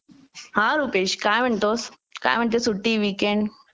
हा रुपेश काय म्हणतो काय म्हणते सुट्टी वीकेंड